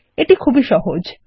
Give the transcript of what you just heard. এটি খুবই সহজ160